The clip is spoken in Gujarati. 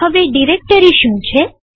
હવે ડિરેક્ટરી શું છે